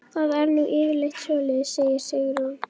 Það er nú yfirleitt svoleiðis, segir Sigrún.